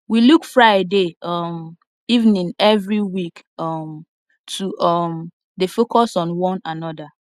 we look friday um evening every week um to um dey focus on one another